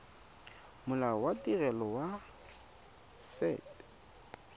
molao wa tirelo ya set